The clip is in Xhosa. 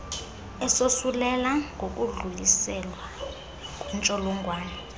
esosulela ngokudluliselwa kwentsholongwane